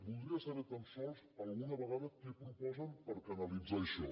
voldria saber tan sols alguna vegada què proposen per canalitzar això